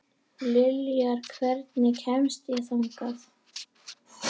Liljar, hvernig kemst ég þangað?